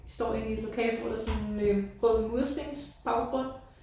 Står inde i et lokale hvor der sådan øh rød murstensbaggrund